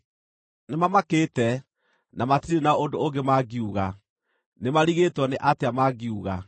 “Nĩmamakĩte, na matirĩ na ũndũ ũngĩ mangiuga; nĩmarigĩtwo nĩ atĩa mangiuga.